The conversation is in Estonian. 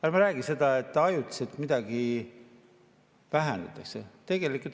Ärme räägime seda, et ajutiselt midagi vähendatakse.